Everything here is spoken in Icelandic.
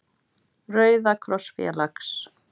Rauða kross félags.